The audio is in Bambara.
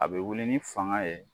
A bɛ wuli ni fanga ye